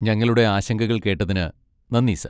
ഞങ്ങളുടെ ആശങ്കകൾ കേട്ടതിന് നന്ദി, സർ.